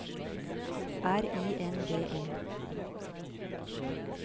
R I N D E